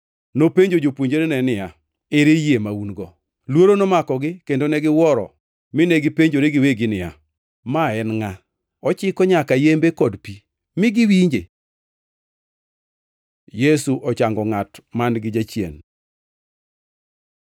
Nopenjo jopuonjrene niya, “Ere yie ma un-go?” Luoro nomakogi kendo negiwuoro mine gipenjore giwegi niya, “Ma en ngʼa? Ochiko nyaka yembe kod pi, mi giwinje.” Yesu ochango ngʼat man-gi jachien